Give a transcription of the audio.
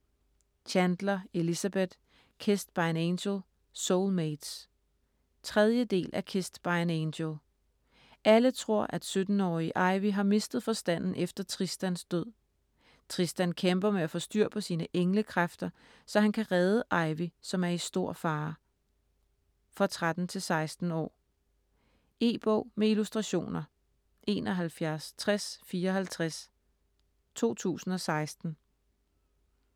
Chandler, Elizabeth: Kissed by an angel - soulmates 3. del af Kissed by an angel. Alle tror, at 17-årige Ivy har mistet forstanden efter Tristans død. Tristan kæmper med at få styr på sine engle-kræfter, så han kan redde Ivy, som er i store fare. For 13-16 år. E-bog med illustrationer 716054 2016.